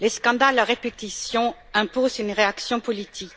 Les scandales à répétition imposent une réaction politique.